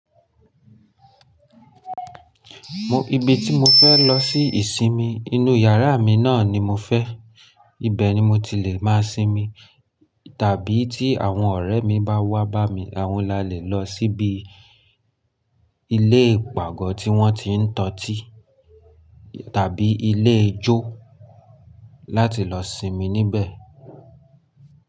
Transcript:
Mo ibi tí mo fẹ́ lọ sí ìsinmi inú yàrá mi náà ni mo fẹ́. Ibẹ̀ ni mo ti lè máa sinmi. Tàbí tí àwọn ọ̀rẹ́ mi bá wá bá mi, àwọn lalẹ̀ lọ síbi ilé ìpàgọ́ tí wọ́n ti ń tọ́ tì tàbí ilé ijó láti lọ sinmi níbẹ̀.